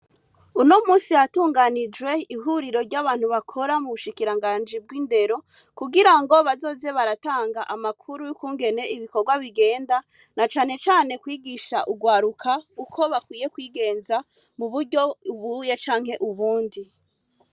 uno munsi hatunganizwe ihuriro bw'abantu bakora mubishikirangazi bw'indero kugirango baje baratanga amakuru yu kungene ibikorwa bigenda cane cane kw'igisha urwaruka uko bagiye kw' igenza mubirwo Ubu canke ubundia